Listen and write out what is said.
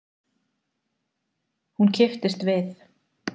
Hún kipptist við.